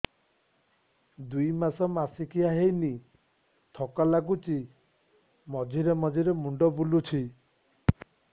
ଦୁଇ ମାସ ମାସିକିଆ ହେଇନି ଥକା ଲାଗୁଚି ମଝିରେ ମଝିରେ ମୁଣ୍ଡ ବୁଲୁଛି